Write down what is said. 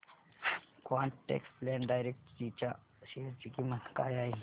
quant tax plan direct G च्या share ची किंमत काय आहे